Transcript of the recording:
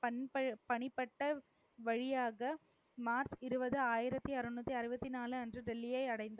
பணி~ பணிபட்ட வழியாக மார்ச் இருபது, ஆயிரத்தி அறுநூத்தி அறுபத்தி நாலு அன்று டெல்லியை அடைந்தார்.